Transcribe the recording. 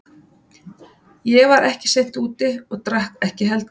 Ég var ekki seint úti og drakk ekki heldur.